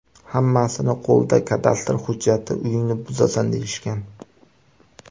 Hammasining qo‘lida kadastr hujjati, uyingni buzasan, deyishgan.